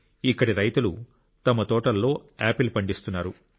ఇక్కడి రైతులు తమ తోటలలో ఆపిల్ పండిస్తున్నారు